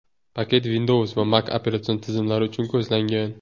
Paket Windows va Mac operatsion tizimlari uchun ko‘zlangan.